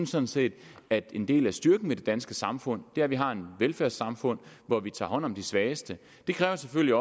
sådan set at en del af styrken ved det danske samfund er at vi har et velfærdssamfund hvor vi tager hånd om de svageste det kræver selvfølgelig